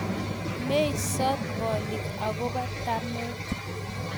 meisot bolik akobo tamet